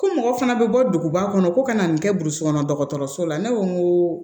Ko mɔgɔ fana bɛ bɔ duguba kɔnɔ ko ka na nin kɛ burusikɔnɔ dɔgɔtɔrɔso la ne ko n ko